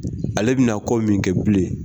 Ale bɛna kɔ min kɛ bilen